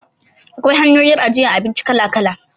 Akwai hanyoyin ajiyar abinci kala-kala.